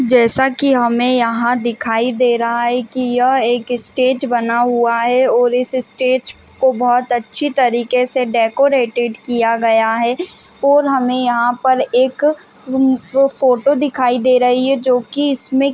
जैसा कि हमें यहाँ दिखाई दे रहा है कि यह एक स्टेज बना हुआ है और इस स्टेज को बहुत अच्छी तरीके से डेकोरेटॆड किया गया है और हमें यहाँ पर एक उम फोटो दिखाई दे रही है जोकि इसमें --